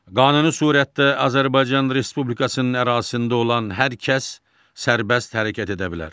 Qanuni surətdə Azərbaycan Respublikasının ərazisində olan hər kəs sərbəst hərəkət edə bilər.